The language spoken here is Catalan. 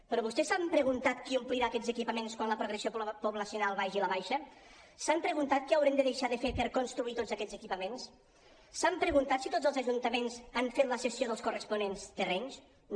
però vostès s’han preguntat qui omplirà aquests equipaments quan la progressió poblacional vagi a la baixa s’han preguntat què haurem de deixar de fer per construir tots aquests equipaments s’han preguntat si tots els ajuntaments han fet la cessió dels corresponents terrenys no